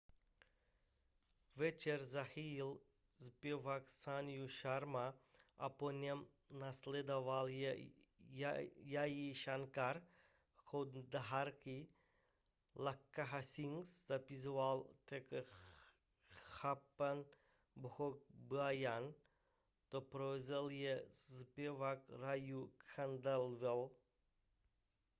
večer zahájil zpěvák sanju sharma a po něm následoval jai shankar choudhary lakkha singh zazpíval také chhappan bhog bhajan doprovázel jej zpěvák raju khandelwal